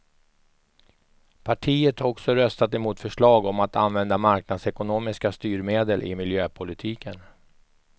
Partiet har också röstat emot förslag om att använda marknadsekonomiska styrmedel i miljöpolitiken.